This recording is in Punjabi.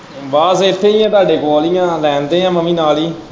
ਬਸ ਇੱਥੇ ਹੀ ਹੈ ਤੁਹਾਡੇ ਕੋਲ ਹੀ ਹੈ ਮੈਂ ਵੀ ਲਾਈਨ ਤੇ ਹੀ ਹੈ ਮੈਂ ਵੀ ਨਾਲ ਹੀ।